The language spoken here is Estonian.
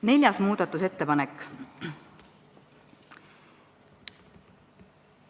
Neljas muudatusettepanek.